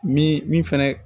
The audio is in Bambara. Min min fɛnɛ